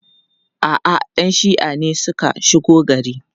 A'a, 'yan shi'a ne suka shigo gari.